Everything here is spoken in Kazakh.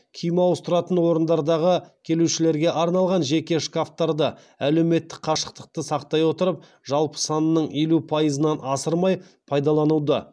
киім ауыстыратын орындардағы келушілерге арналған жеке шкафтарды әлеуметтік қашықтықты сақтай отырып жалпы санының елу пайызынан асырмай пайдалануды